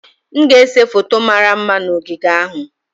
M ga-ese foto mara mma na ogige ahụ.